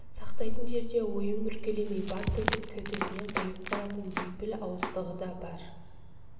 сақтайтын жерде ойын бүркемелемей баттитып төтесінен қойып қалатын бейпіл ауыздығы да бар